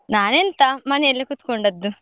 ನಾನ್ ಎಂತ ಮನೇಲೆ ಕುತ್ಕೊಂಡದ್ದು.